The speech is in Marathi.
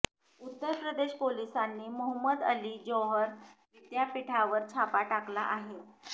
उत्तर प्रदेश पोलिसांनी मोहम्मद अली जौहर विद्यापीठावर छापा टाकला आहे